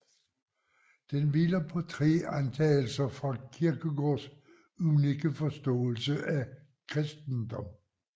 Den hviler på tre antagelser taget fra Kierkegaards unikke forståelse af kristendom